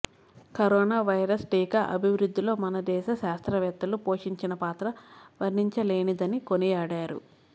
corona virus టీకా అభివృద్ధిలో మనదేశ శాస్త్రవేత్తలు పోషించిన పాత్ర వర్ణించలేనిదని కొనియాడారు